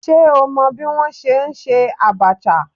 Ṣé o mọ bí wọ́n ṣe ń ṣe Abacha?